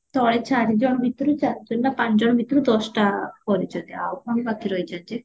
ତଳେ ଚାରିଜଣ ଭିତରୁ ଚାରିଜଣ ନା ପାଞ୍ଚଜଣ ଭିତରୁ ଦଶଟା କରିଚନ୍ତି ଆଉ ବାକି ରହିଚନ୍ତି ଯେ